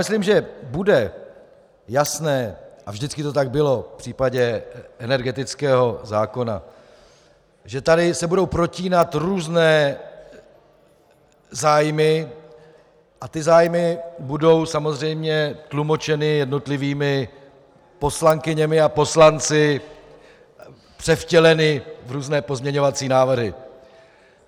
Myslím, že bude jasné, a vždycky to tak bylo v případě energetického zákona, že se tady budou protínat různé zájmy a ty zájmy budou samozřejmě tlumočeny jednotlivými poslankyněmi a poslanci, převtěleny v různé pozměňovací návrhy.